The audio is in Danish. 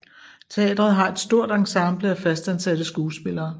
Teatret har et stort ensemble af fastansatte skuespillere